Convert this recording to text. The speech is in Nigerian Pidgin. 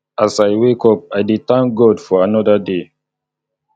as i wake up i dey thank thank god for another day